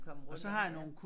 Komme rundt ja